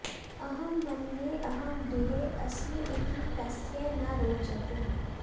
अहं मन्ये अहं गृहे अस्मि इति तस्यै न रोचते